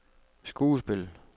skuespil